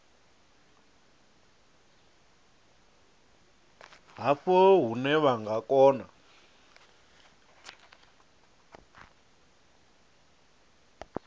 havho hune vha nga kona